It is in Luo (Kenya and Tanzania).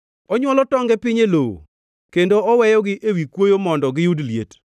Onywolo tonge piny e lowo kendo oweyogi ewi kuoyo mondo giyud liet,